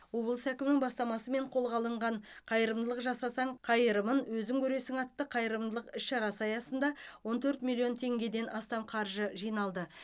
облыс әкімінің бастамасымен қолға алынған қайырымдылық жасасаң қайырымын өзің көресің атты қайырымдылық іс шарасы аясында он төрт миллион теңгеден астам қаржы жиналды